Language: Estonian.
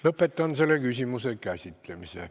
Lõpetan selle küsimuse käsitlemise.